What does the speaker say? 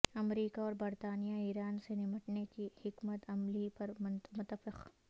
امریکہ اور برطانیہ ایران سے نمٹنے کی حکمت عملی پر متفق